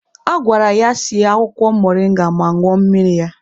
A gwara ya sie akwụkwọ moringa ma ñụọ mmiri ya.